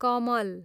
कमल